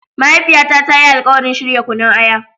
Mahaifiyata ta yi alkawarin shirya Kunun aya.